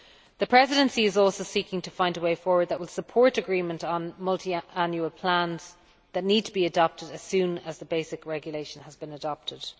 The Presidency is also seeking to find a way forward that will support agreement on Multiannual Plans that need to be adopted as soon as the basic regulation has been adopted.